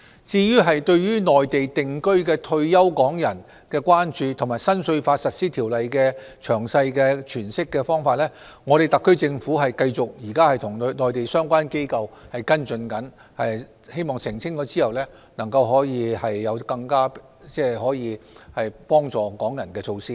至於對內地定居的退休港人的關注和新稅法實施條例的詳細詮釋，特區政府現時會繼續與內地相關機構跟進，希望澄清後可以有更能幫助港人的措施。